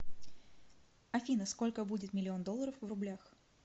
афина сколько будет миллион долларов в рублях